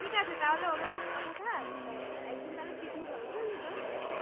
আচ্ছা ঠিক আছে তাহলে ওরমই কথা থাক অ্যা একদিন তাহলে picnic হবে বুঝলি তো